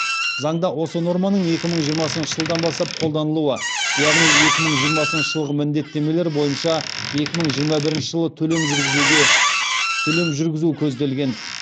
заңда осы норманың екі мың жиырмасыншы жылдан бастап қолданылуы яғни екі мың жиырмасыншы жылғы міндеттемелер бойынша екі мың жиырма бірінші жылы төлем жүргізу көзделген